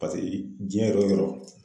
Paseke diɲɛ yɔrɔ yɔrɔ.